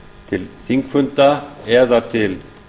til þingfunda eða til